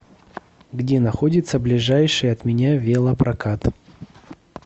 где находится ближайший от меня велопрокат